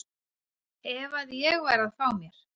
ef að ég væri að fá mér.